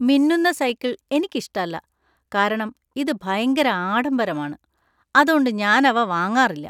മിന്നുന്ന സൈക്കിള്‍ എനിക്കിഷ്ടല്ല, കാരണം ഇത് ഭയങ്കര ആഡംബരമാണ്, അതോണ്ട് ഞാൻ അവ വാങ്ങാറില്ല.